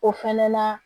O fɛnɛ na